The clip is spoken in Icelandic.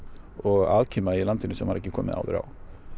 og afkima í landinu sem maður hefur ekki komið áður á